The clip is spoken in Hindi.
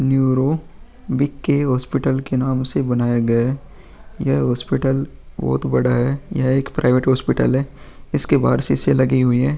Neuro BK. हॉस्पिटल के नाम से बनाया गया है | यह हॉस्पिटल बहुत बड़ा है | यह एक प्राइवेट हॉस्पिटल है | इसके बाहर शीशे लगी हुई है |